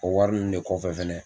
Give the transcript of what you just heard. O wari ninnu de kɔ kɔfɛ fɛnɛ